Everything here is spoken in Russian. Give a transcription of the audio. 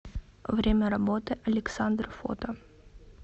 время работы александр фото